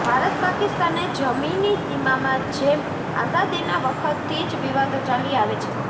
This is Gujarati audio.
ભારત પાકિસ્તાને જમીની સીમામાં જેમ આઝાદીનાં વખતથી જ વિવાદો ચાલી આવે છે